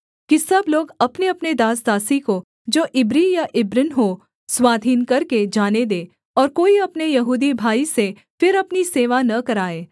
कि सब लोग अपनेअपने दासदासी को जो इब्री या इब्रिन हों स्वाधीन करके जाने दें और कोई अपने यहूदी भाई से फिर अपनी सेवा न कराए